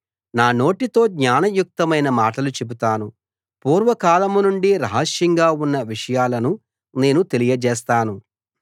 నా నోటితో జ్ఞానయుక్తమైన మాటలు చెబుతాను పూర్వకాలం నుండీ రహస్యంగా ఉన్న విషయాలు నేను తెలియజేస్తాను